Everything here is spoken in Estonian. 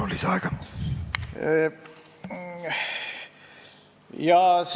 Palun, lisaaeg kolm minutit!